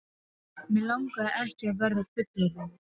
Mig langaði ekki að verða fullorðinn.